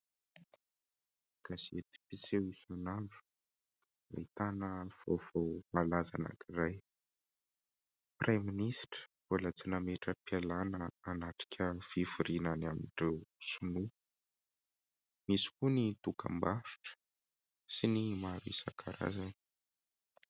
Gasety mpiseho isan'andro nahitana vaovao malaza anankiray. Praiministra mbola tsy nametra-pialana hanatrika fivoriana any amin'ireo Sinoa, misy koa ny dokam-barotra sy ny maro isan-karazany.